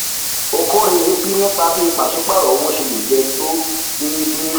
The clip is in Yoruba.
okorie bi nípa bí pàsípàrọ owó ṣe le jẹ tó déédéé